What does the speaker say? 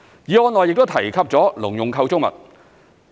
議案內亦提及了農用構築物。